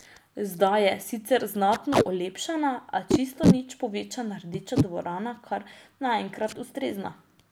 Zdaj je, sicer znatno olepšana, a čisto nič povečana Rdeča dvorana kar naenkrat ustrezna.